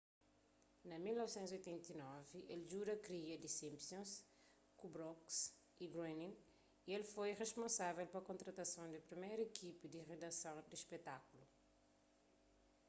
na 1989 el djuda kria the simpsons ku brooks y groening y el foi risponsável pa kontratason di priméru ikipa di ridason di spetákulu